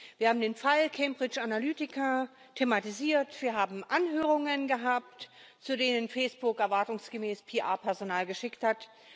Wir haben den Fall Cambridge Analytica thematisiert, wir haben Anhörungen gehabt, zu denen Facebook erwartungsgemäß PR Personal geschickt hat.